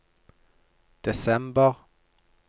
desember